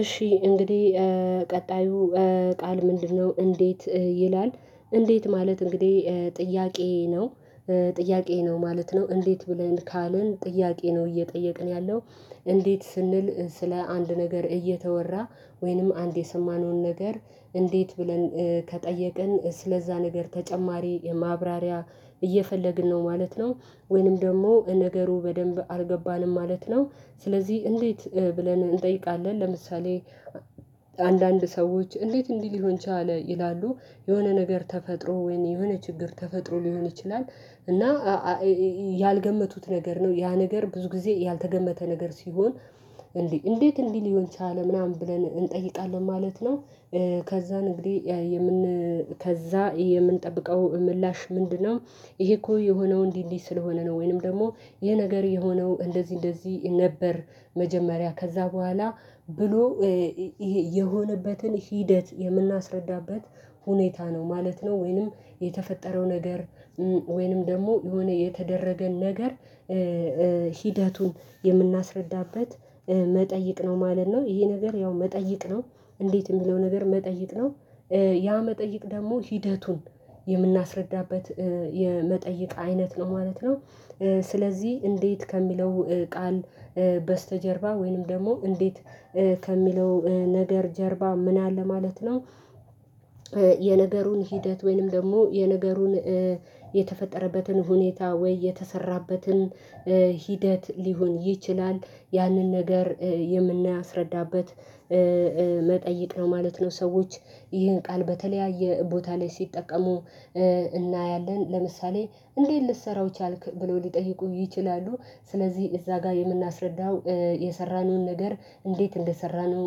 እሺ እንግዲህ ቀጣዩ ቃል ምንድነው እንዴት ይላል እንዴት ማለት እንግዲህ ጥያቄዬ ነው። ጥያቄ ነው ማለት ነው እንዴት ብለን ካልን ጥያቄ ነው እየጠየቅን ያለው እንዴት ስንል ስለ አንድ ነገር እየተወራ ወይንም አንድ የሰማነውን ነገር እንዴት ብለን ከጠየቅን ስለዛ ነገር ተጨማሪ ማብራሪያ እየፈለግን ነው ማለት ነው። ወይንም ደግሞ ነገሩ በደንብ አልገባንም ማለት ነው። ስለዚህ እንዴት ብለን እንጠይቃለን ለምሳሌ አንዳንድ ሰዎች እንዴት እንዲህ ሊሆን ቻለ ይላሉ የሆነ ነገር ተፈጥሮ ወይም የሆነ ችግር ተፈጥሮ ሊሆን ይችላል እና ያልገመቱት ነገር ነው ያ ነገር ብዙ ጊዜ ያልተገመተ ነገር ሲሆን እንዴ እንዴት እንዲህ ሊሆን ቻለ ምናምን ብለን እንጠይቃለን ማለት ነው ከዛ እንግዲህ የምን ከዛ የምንጠብቀው ምላሽ ምንድነው ይሄ እኮ የሆነው እንዲህ እንዲህ ስለሆነ ነው ወይንም ደግሞ ይሄ ነገር የሆነው እንደዚህ እንደዚህ ነበር መጀመሪያ ከዛ በኋላ ብሎ የሆነበትን ሂደት የምናስረዳበት ሁኔታ ነው ማለት ነው ወይንም የተፈጠረው ነገር ወይንም ደግሞ የሆነ የተደረገን ነገር ሂደቱን የምናስረዳበት መጠይቅ ነው ማለት ነው ይሄ ነገር ያው መጠይቅ ነው እንዴት የሚለው ነገር መጠይቅ ነው ያ መጠይቅ ደግሞ ሂደቱን የምናስረዳበት የመጠይቅ አይነት ነው ማለት ነው ስለዚህ እንዴት ከሚለው ቃል በስተጀርባ ወይንም ደግሞ እንዴት ከሚለው ነገር ጀርባ ምን አለ ማለት ነው የነገሩን ሂደት ወይንም ደግሞ የነገሩን የተፈጠረበትን ሁኔታ ወይ የተሰራበትን ሂደት ሊሆን ይችላል ያንን ነገር የምናስረዳበት መጠየቅ ነው ማለት ነው ሰዎች ይህን ቃል በተለያየ ቦታ ላይ ሲጠቀሙ እናያለን ለምሳሌ እንዴት ልትሰራው ቻልክ ብለው ሊጠይቁ ይችላሉ ስለዚህ እዛ ጋር የምናስረዳው የሰራነውን ነገር እንዴት እንደሰራነው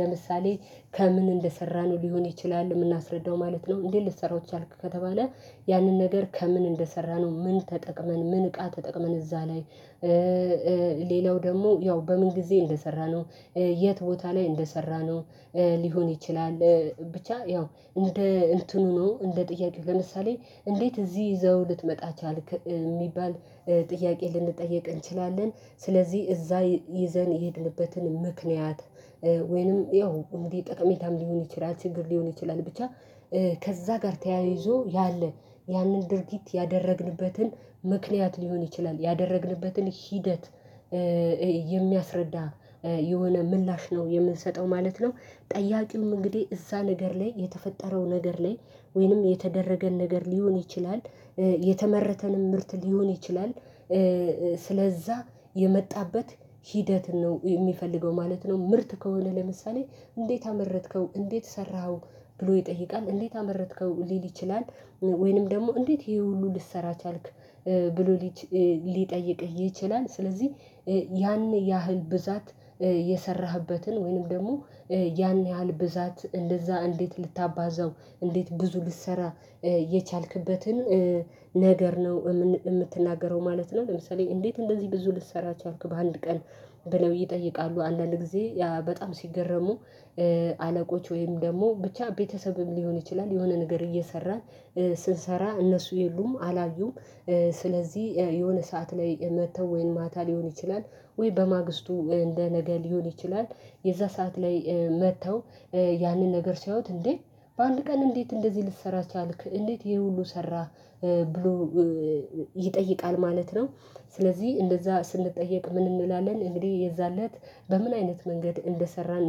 ለምሳሌ ከምን እንደሰራነው ሊሆን ይችላል የምናስረዳው ማለት ነው እንዴት ልትሰራው ቻልክ ከተባለ ያንን ነገር ከምን እንደሰራነው ምን ተጠቅመን ምን እቃ ተጠቅመን እዛ ላይ ሌላው ደግሞ ያው በምን ጊዜ እንደሰራነው የት ቦታ ላይ እንደሰራነው ሊሆን ይችላል ብቻ ያው እንደ እንትኑ ነው እንደ ጥያቄው ለምሳሌ እንዴት እዚህ ይዘኅው ልትመጣ ቻልክ የሚባል ጥያቄ ልንጠየቅ እንችላለን ስለዚህ እዛ ይዘን የሄድንበትን ምክንያት ወይንም ያው እንግዲ ጠቀሜታም ሊሆን ይችላል ችግር ሊሆን ይችላል ብቻ ከዛ ጋር ተያይዞ ያለ ያንን ድርጊት ያደረግንበትን ምክንያት ሊሆን ይችላል ያደረግንበትን ሂደት የሚያስረዳ የሆነ ምላሽ ነው የምንሰጠው ማለት ነው ጠያቂውም እንግዲህ እዛ ነገር ላይ የተፈጠረው ነገር ላይ ወይንም የተደረገን ነገር ሊሆን ይችላል የተመረተንም ምርት ሊሆን ይችላል ስለዛ የመጣበት ሂደት ነው የሚፈልገው ማለት ነው ምርት ከሆነ ለምሳሌ እንዴት አመረትከው እንዴት ሰራኸው ብሎ ይጠይቃል እንዴት አመረትከው ሊል ይችላል ወይንም ደግሞ እንዴት ይሄ ሁሉ ልትሰራ ቻልክ ብሎ ሊል ሊጠይቅህ ይችላል ስለዚህ ያን ያህል ብዛት የሰራህበትን ወይንም ደግሞ ያን ያህል ብዛት እንደዛ እንዴት ልታባዘው እንዴት ብዙ ልትሰራ የቻልክበትን ነገር ነው የምትናገረው ማለት ነው ለምሳሌ እንዴት እንደዚህ ብዙ ልትሰራው ቻልክ በአንድ ቀን ብለው ይጠይቃሉ አንዳንድ ጊዜ በጣም ሲገረሙ አለቆች ወይም ደግሞ ብቻ ቤተሰብም ሊሆን ይችላል የሆነ ነገር እየሰራን ስንሰራ እነሱ የሉም አላዩም ስለዚህ የሆነ ሰዓት ላይ መጥተው ወይንም ማታ ሊሆን ይችላል ወይ በማግስቱ እንደ ነገ ሊሆን ይችላል የዛ ሰዓት ላይ መጥተው ያንን ነገር ሲያዩት እንዴ በአንድ ቀን እንዴት እንደዚህ ልትሰራ ቻልክ እንዴት ይሄ ሁሉ ሰራህ ብሎ ይጠይቃል ማለት ነው ስለዚህ እንደዛ ስንጠየቅ ምን እንላለን እንግዲህ የዛን ለት በምን አይነት መንገድ እንደሰራን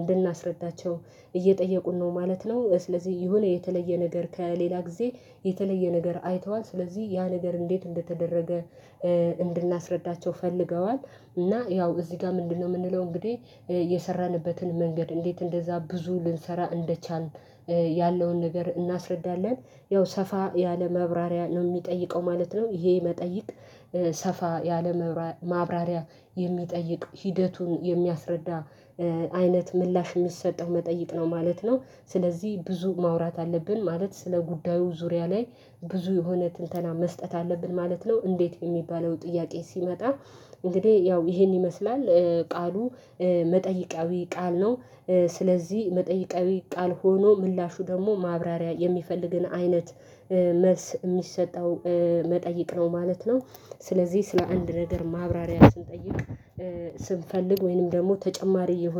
እንድናስረዳቸው እየጠየቁን ነው ማለት ነው ስለዚህ የሆነ የተለየ ነገር ከሌላ ጊዜ የተለየ ነገር አይተዋል ስለዚህ ያ ነገር እንዴት እንደተደረገ እንድናስረዳቸው ፈልገዋል እና ያው እዚህ ጋር ምንድነው የምንለው እንግዲህ የሰራንበትን መንገድ እንዴት እንደዛ ብዙ ልንሰራ እንደቻልን ያለውን ነገር እናስረዳለን ያው ሰፋ ያለ ማብራሪያ ነው የሚጠይቀው ማለት ነው ይሄ መጠይቅ ሰፋ ያለ ማብራሪያ የሚጠይቅ ሂደቱን የሚያስረዳ አይነት ምላሽ የሚሰጠው መጠይቅ ነው ማለት ነው ስለዚህ ብዙ ማውራት አለብን ማለት ስለ ጉዳዩ ዙሪያ ላይ ብዙ የሆነ ትንተና መስጠት አለብን ማለት ነው እንዴት የሚባለው ጥያቄ ሲመጣ እንግዲህ ያው ይሄን ይመስላል ቃሉ መጠይቃዊ ቃል ነው ስለዚህ መጠይቃዊ ቃል ሆኖ ምላሹ ደግሞ ማብራሪያ የሚፈልግን አይነት መልስ የሚሰጠው መጠይቅ ነው ማለት ነው ስለዚህ ስለ አንድ ነገር ማብራሪያ ስንጠይቅ ስንፈልግ ወይንም ደግሞ ተጨማሪ እየሆነ